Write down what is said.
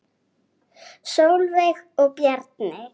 Sólveig og Bjarni.